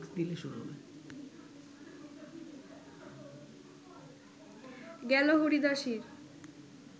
গেল হরিদাসীর